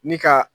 Ni ka